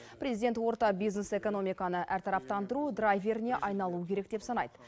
президент орта бизнес экономиканы әртараптандыру драйверіне айналуы керек деп санайды